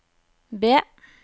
B